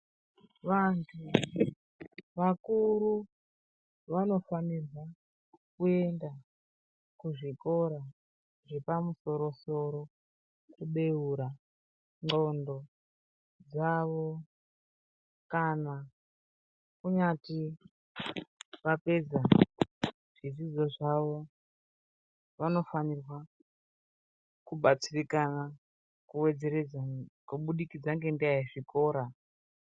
Vantu vakuru vanofanirwa kuenda kuzvikoro zvepamusoro-soro kubeura ndxondo dzavo kana kunyati vapedza zvidzidzo zvavo vanofanirwa kubatsirikana kuwedzeredza kubudikidza ngenyaya yezvikora.